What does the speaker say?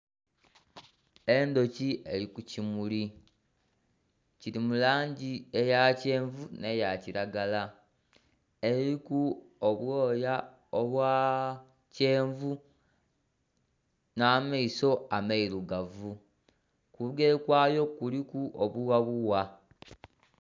Endhuki eri kukimuli kiri mu langi eya kyenvu n'eya kiragala eriku obwooya obwa kyenvu n'amaiso amairugavu, kubugere kwayo kuliku obughabugha.